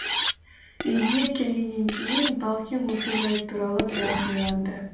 үйге келгеннен кейін балкен осы жайт туралы біраз ойланды